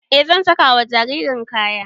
E zan saka wa jaririn kaya